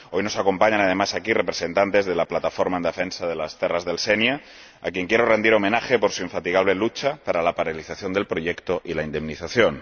Hoy nos acompañan además aquí representantes de la Plataforma en Defensa de les Terres del Sénia, a quienes quiero rendir homenaje por su infatigable lucha por la paralización del proyecto y la indemnización.